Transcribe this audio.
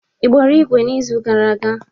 Ị gbara igwe n'izu gara aga?